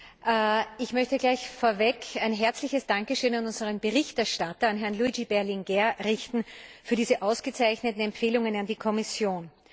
Herr Präsident! Ich möchte gleich vorweg ein herzliches Dankeschön an unseren Berichterstatter, an Herrn Luigi Berlinguer, richten für diese ausgezeichneten Empfehlungen an die Kommission!